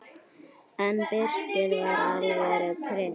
En Birkir var alvöru prins.